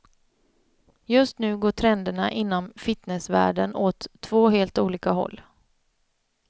Just nu går trenderna inom fitnessvärlden åt två helt olika håll.